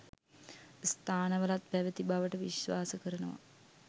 ස්ථානවලත් පැවති බවට විශ්වාස කරනවා.